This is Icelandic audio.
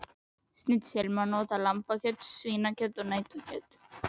Í snitsel má nota lambakjöt, svínakjöt og nautakjöt.